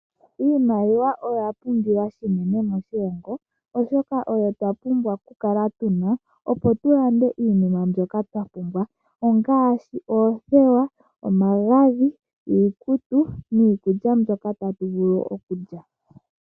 Iimaliwa oya pumbiwa shinene moshilongo, oshoka oyo twa pumbwa ku kala tuna opo tu lande iinima mbyoka twa pumbwa ongaashi oothewa, omagadhi, iikutu, niikulya mbyoka ta tu vulu okulya.